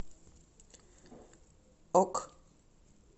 ок